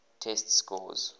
test scores